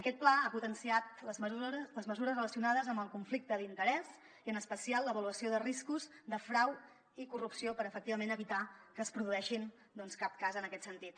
aquest pla ha potenciat les mesures relacionades amb el conflicte d’interès i en especial l’avaluació de riscos de frau i corrupció per efectivament evitar que es produeixi doncs cap cas en aquest sentit